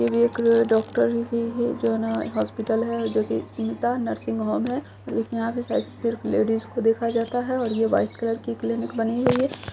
ये भी एक डॉक्टर ही है जो न हॉस्पिटल है जो कि स्मिता नर्सिंग होम है लेकिन यहां पे शायद सिर्फ लेडीज को देखा जाता है और ये व्हाइट कलर की क्लिनिक बनी हुई है।